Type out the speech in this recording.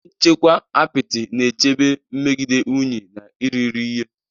Ihe nchekwa apịtị na-echebe megide unyi na irighiri ihe.